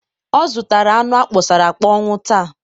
ọ zụtara anụ akpọsara akpọnwụ taa.